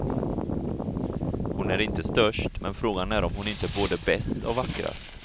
Hon är inte störst men frågan är om hon inte är både bäst och vackrast.